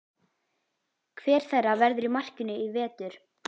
Hver þeirra verður í markinu í vetur?